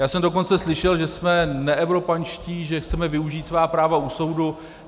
Já jsem dokonce slyšel, že jsme neevropanští, že chceme využít svá práva u soudu.